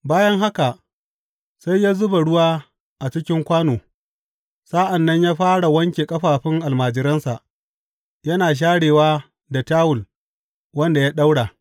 Bayan haka, sai ya zuba ruwa a cikin kwano, sa’an nan ya fara wanke ƙafafun almajiransa, yana sharewa da tawul wanda ya ɗaura.